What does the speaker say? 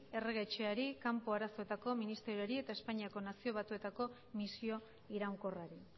errege etxeari kanpo arazoetako ministerioari eta espainiako nazio batuetako misio iraunkorrari